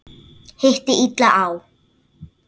Hitti illa á.